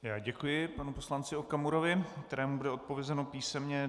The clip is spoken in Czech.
Já děkuji panu poslanci Okamurovi, kterému bude odpovězeno písemně.